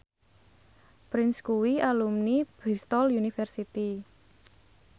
Prince kuwi alumni Bristol university